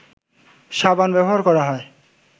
সাবান ব্যবহার করা হয়